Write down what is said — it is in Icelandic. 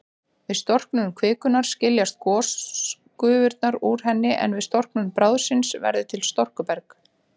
Við storknun kvikunnar skiljast gosgufurnar úr henni, en við storknun bráðsins verður til storkuberg.